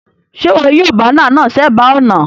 Sé wo yio banner náà sébàá ònà